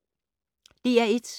DR1